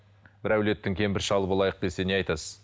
бір әулеттің кемпір шалы болайық десе не айтасыз